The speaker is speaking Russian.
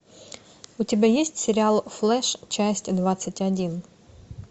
у тебя есть сериал флэш часть двадцать один